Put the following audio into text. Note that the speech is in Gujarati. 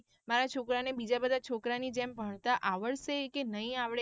મારા છોકરા ને બીજા બધા છોકરા ની જેમ ભણતા આવડશે કે નહિ આવડે.